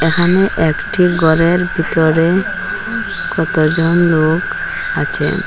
এখানে একটি গরের বিতরে কতজন লোক আছেন।